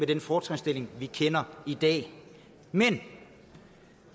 den fortrinsstilling vi kender i dag men